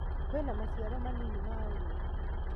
Kwina maciaro manini ma ũrĩmi